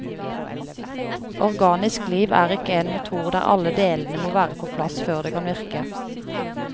Organisk liv er ikke en motor der alle delene må være på plass før det kan virke.